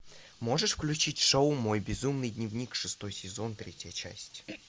можешь включить шоу мой безумный дневник шестой сезон третья часть